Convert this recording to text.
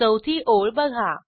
चौथी ओळ बघा